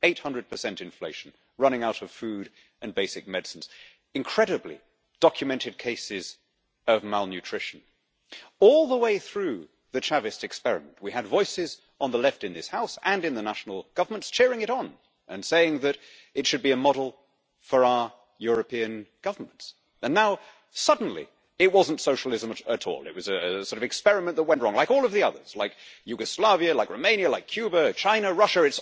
800 inflation, running out of food and basic medicines and, incredibly, documented cases of malnutrition. All the way through the Chavez experiment we had voices on the left in this House and in the national governments cheering it on and saying that it should be a model for our European governments. Now, suddenly, it wasn't socialism at all it was sort of an experiment that went wrong, like all of the others, like Yugoslavia, like Romania, like Cuba, China, Russia.